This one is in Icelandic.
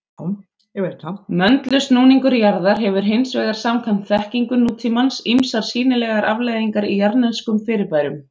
Möndulsnúningur jarðar hefur hins vegar samkvæmt þekkingu nútímans ýmsar sýnilegar afleiðingar í jarðneskum fyrirbærum.